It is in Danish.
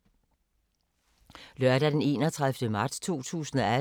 Lørdag d. 31. marts 2018